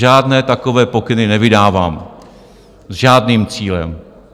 Žádné takové pokyny nevydávám, s žádným cílem.